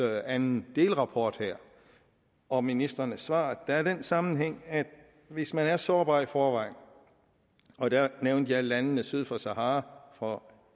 anden delrapport her og ministrenes svar der er den sammenhæng at hvis man er sårbar i forvejen og der nævnte jeg landene syd for sahara for